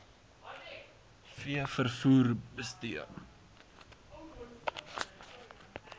v vervoer bestee